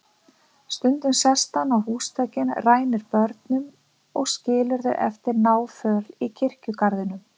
Stundum sest hann á húsþökin, rænir börnunum og skilur þau eftir náföl í kirkjugarðinum.